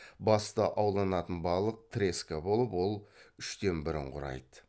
басты ауланатын балық треска болып ол үштен бірін құрайды